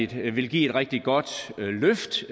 der vil give et rigtig godt løft